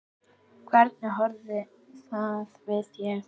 Hvernig horfði það við þér?